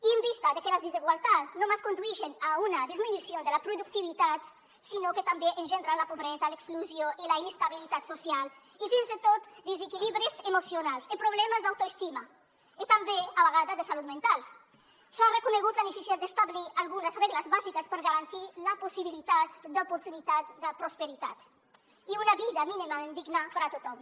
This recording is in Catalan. i en vista de que les desigualtats no només condueixen a una disminució de la productivitat sinó que també engendren la pobresa l’exclusió i la inestabilitat social i fins i tot desequilibris emocionals i problemes d’autoestima i també a vegades de salut mental s’ha reconegut la necessitat d’establir algunes regles bàsiques per garantir la possibilitat d’oportunitats de prosperitat i una vida mínimament digna per a tothom